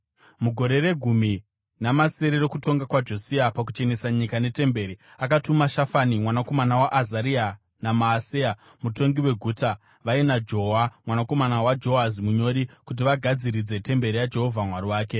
Mugore regumi namasere rokutonga kwaJosia pakuchenesa nyika netemberi, akatuma Shafani mwanakomana waAzaria naMaaseya mutongi weguta, vaina Joa mwanakomana waJohazi munyori, kuti vagadziridze temberi yaJehovha Mwari wake.